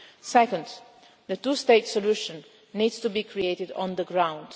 to an end. Second, the two-state solution needs to be created on